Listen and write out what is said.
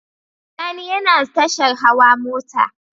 Sani yana tashar hawa mota